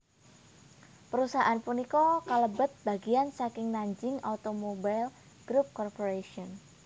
Perusahaan punika kalebet bagian saking Nanjing Automobile Group Corporation